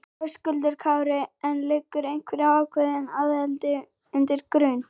Höskuldur Kári: En liggur einhver ákveðin aðili undir grun?